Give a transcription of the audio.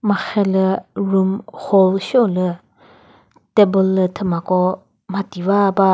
marhe lü room hall sheo lü table lü thüma ko mhati va ba.